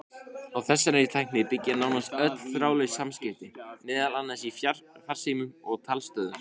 Á þessari tækni byggja nánast öll þráðlaus samskipti, meðal annars í farsímum og talstöðvum.